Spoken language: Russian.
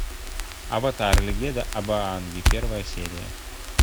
аватар легенда об аанге первая серия